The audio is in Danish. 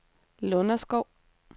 Lunderskov